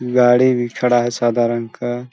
गाड़ी भी खड़ा है सादा रंग का।